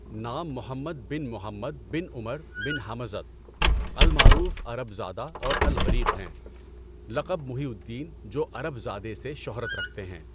نام محمد بن محمد بن عمر بن حمزة، المعروف عرب زاده اور الغريق ہیں، لقب محی الدین جوعرب زادہ سے شہرت رکھتے ہیں۔